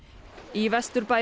í Vesturbæ